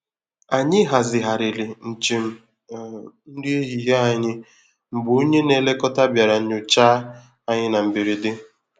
Ànyị hazigharịrị njem um nri ehihie anyị mgbe onye nlekọta bịara nyochaa anyi n'mberede.